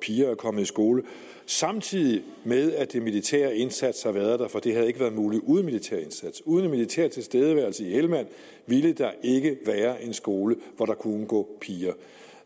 piger er kommet i skole samtidig med at den militære indsats har været der for det havde ikke været muligt uden en militær indsats uden en militær tilstedeværelse i helmand ville der ikke være en skole hvor der kunne gå piger